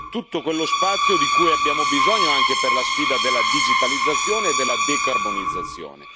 tutto quello spazio di cui abbiamo bisogno anche per la sfida della digitalizzazione e della decarbonizzazione.